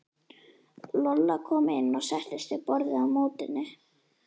Lolla kom inn og settist við borðið á móti henni.